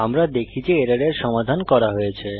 আমরা দেখি যে এররের সমাধান করা হয়েছে